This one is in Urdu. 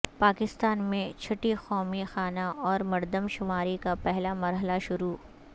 پاکستان میں چھٹی قومی خانہ اورمردم شماری کا پہلا مرحلہ شروع